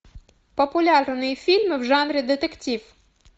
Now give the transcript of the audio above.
популярные фильмы в жанре детектив